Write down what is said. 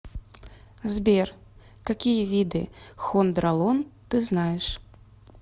сбер какие виды хондролон ты знаешь